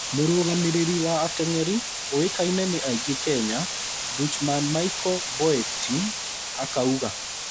Mũrũgamĩrĩri wa ateng’eri ũĩkaine nĩ aingĩ kenya, Dutchman Michel Boeting akauga